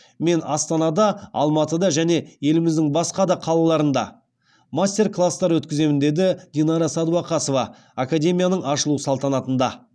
мен астанада алматыда және еліміздің басқа да қалаларында мастер класстар өткіземін деді динара сәдуақасова академияның ашылу салтанатында